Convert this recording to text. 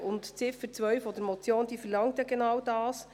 Die Ziffer 2 der Motion verlangt genau das.